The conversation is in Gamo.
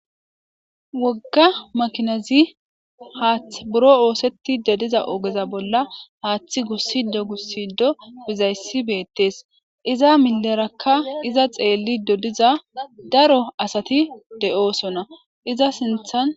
Wogga makinazi haathth buro ooseti dediza ogeza bolla haaththi gussido gussido bizayssi beettees iza milerakka iza xeelli dodiza daro asati de7oosona iza sinthan